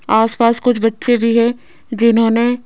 आस पास कुछ बच्चे भी हैं जिन्होंने--